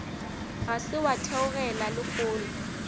ga se wa theogela lehono